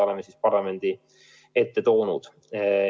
Oleme need parlamendi ette toonud.